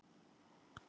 Þetta er skemmtun